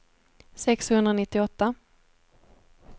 sexhundranittioåtta